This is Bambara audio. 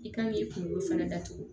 I kan k'i kunkolo fɛnɛ datugu